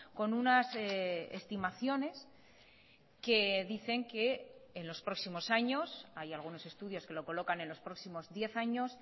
con unas estimaciones que dicen que en los próximos años hay algunos estudios que lo colocan en los próximos diez años